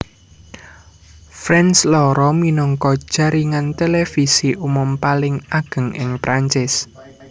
France loro minangka jaringan televisi umum paling ageng ing Perancis